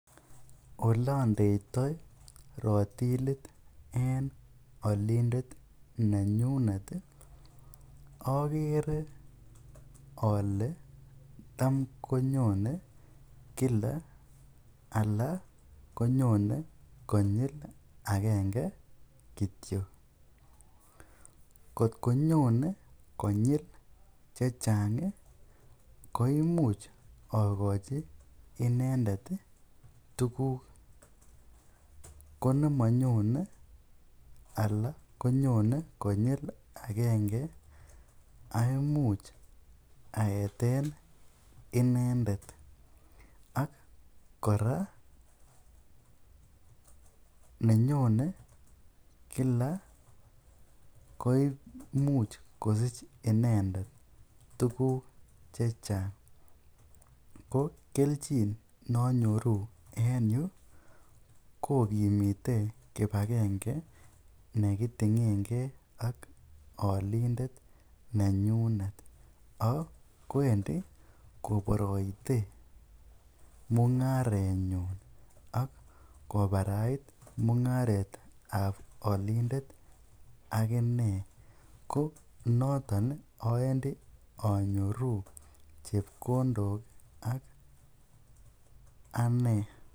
Olendeitoi rotilit en olindet nenyunet okere olee tam konyone kila alaa konyone konyil akenge kitio, kot konyone konyil chechang koimuch okochi inendet tukuk, konemonyone alaa konyone konyil akenge aimuch aeten inendet ak kora nenyone kila koimuch kosich inendet tukuk chechang, ko kelchin nonyoru en yuu kokimite kibakenge nekitingenge ak olindet nenyunet ak koendi koboroite mungarenyun ak kobarait mungaretab olindet ak inee, ko noton oendi anyoru chepkondok ak anee.